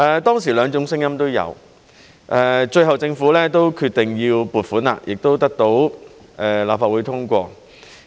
當時兩種聲音都有，最後政府都決定要撥款，亦得到立法會通過。